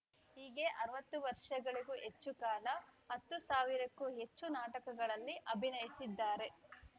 ಹೀಗೆ ಅರವತ್ತು ವರ್ಷಗಳಿಗೂ ಹೆಚ್ಚು ಕಾಲ ಹತ್ತು ಸಾವಿರಕ್ಕೂ ಹೆಚ್ಚು ನಾಟಕಗಳಲ್ಲಿ ಅಭಿನಯಿಸಿದ್ದಾರೆ